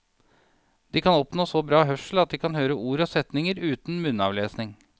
De kan oppnå så bra hørsel at de kan høre ord og setninger uten munnavlesning.